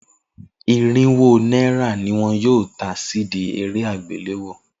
Irinwó náírà ni wọn yóò ta CD eré àgbéléwò.